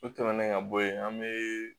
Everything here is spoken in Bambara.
O tɛmɛnen ka bɔ yen an be